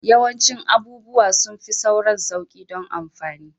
Yawancin abubuwa sun fi sauran sauƙi don amfani